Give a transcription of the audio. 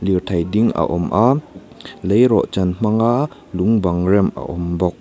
lirthei ding a awm a leirawhchan hmanga lung bang rem a awm bawk.